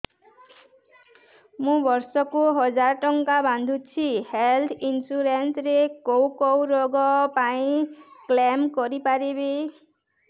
ମୁଁ ବର୍ଷ କୁ ହଜାର ଟଙ୍କା ବାନ୍ଧୁଛି ହେଲ୍ଥ ଇନ୍ସୁରାନ୍ସ ରେ କୋଉ କୋଉ ରୋଗ ପାଇଁ କ୍ଳେମ କରିପାରିବି